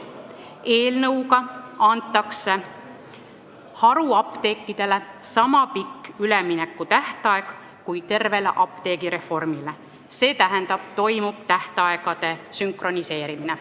Eelnõuga antakse haruapteekidele niisama pikk üleminekutähtaeg, kui on tervel apteegireformil, st toimub tähtaegade sünkroniseerimine.